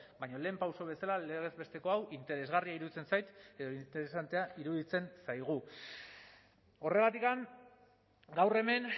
baina lehen pauso bezala legez besteko hau interesgarria iruditzen zait edo interesantea iruditzen zaigu horregatik gaur hemen